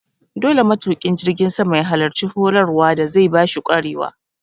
Dole matuƙin jirgin sama ya halarci horar wa da zai bashi ƙwarewa